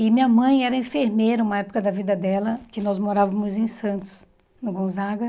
E minha mãe era enfermeira, uma época da vida dela, que nós morávamos em Santos, no Gonzaga.